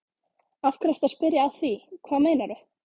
Af hverju ertu að spyrja að því. hvað meinarðu?